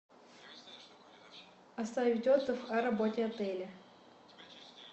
оставить отзыв о работе отеля